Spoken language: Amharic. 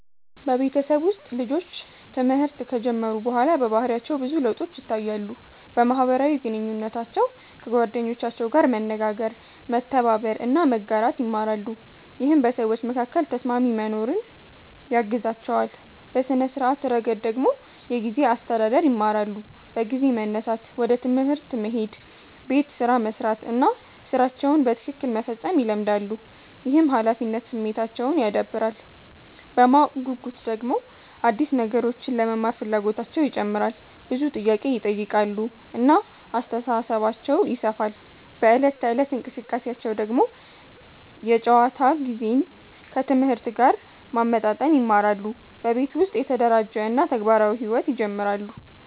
በቤተሰብ ውስጥ ልጆች ትምህርት ከጀመሩ በኋላ በባህሪያቸው ብዙ ለውጦች ይታያሉ። በማህበራዊ ግንኙነታቸው ከጓደኞቻቸው ጋር መነጋገር፣ መተባበር እና መጋራት ይማራሉ፣ ይህም በሰዎች መካከል ተስማሚ መኖርን ያግዛቸዋል። በሥነ-ስርዓት ረገድ ደግሞ የጊዜ አስተዳደር ይማራሉ፤ በጊዜ መነሳት፣ ወደ ትምህርት መሄድ፣ ቤት ስራ መስራት እና ሥራቸውን በትክክል መፈጸም ይለመዳሉ። ይህም ኃላፊነት ስሜታቸውን ያዳብራል። በማወቅ ጉጉት ደግሞ አዲስ ነገሮችን ለመማር ፍላጎታቸው ይጨምራል፣ ብዙ ጥያቄ ይጠይቃሉ እና አስተሳሰባቸው ይሰፋል። በዕለት ተዕለት እንቅስቃሴያቸው ደግሞ የጨዋታ ጊዜን ከትምህርት ጋር ማመጣጠን ይማራሉ፣ በቤት ውስጥ የተደራጀ እና ተግባራዊ ሕይወት ይጀምራሉ።